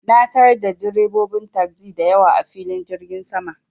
Na tarar da direbobin tasi da yawa, a filin jirgin saman.